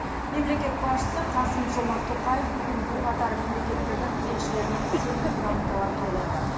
мемлекет басшысы қасым жомарт тоқаев бүгін бірқатар мемлекеттердің елшілерінен сенім грамоталарын қабылдады